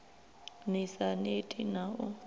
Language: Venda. ni sa neti na u